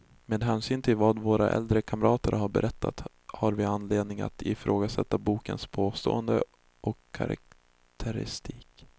Med hänsyn till vad våra äldre kamrater berättat, har vi anledning att ifrågasätta bokens påståenden och karaktäristik.